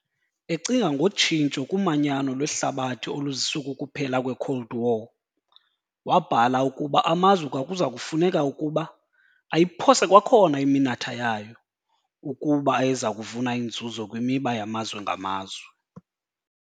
Ecinga ngotshintsho kumanyano lwehlabathi oluziswe kukuphela kwe-Cold War, wabhala ukuba amazwe kwakuza kufuneka ukuba "ayiphose kwakhona iminatha yayo" ukuba ayeza kuvuna iinzuzo kwimiba yamazwe ngamazwe.